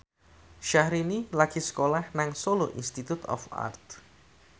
Syahrini lagi sekolah nang Solo Institute of Art